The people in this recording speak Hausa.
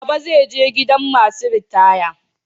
Baba zai je gidan masu ritaya.